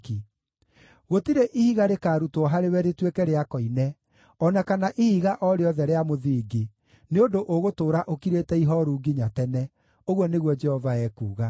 Gũtirĩ ihiga rĩkarutwo harĩwe rĩtuĩke rĩa koine, o na kana ihiga o rĩothe rĩa mũthingi, nĩ ũndũ ũgũtũũra ũkirĩte ihooru nginya tene,” ũguo nĩguo Jehova ekuuga.